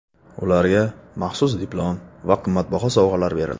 Ularga maxsus diplom va qimmatbaho sovg‘alar berildi.